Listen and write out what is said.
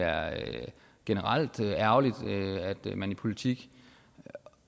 generelt er ærgerligt at man i politik